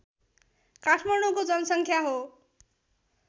काठमाडौँको जनसङ्ख्या हो